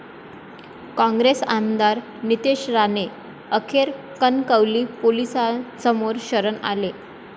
काँग्रेस आमदार नितेश राणे अखेर कणकवली पोलिसांसमोर शरण आले.